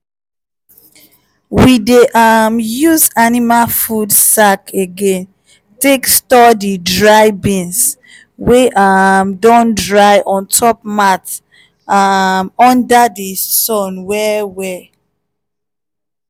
we dey use um food sack again take store the dry bean wey um don dry on top mat um under the sun well well